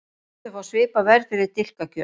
Bændur fá svipað verð fyrir dilkakjöt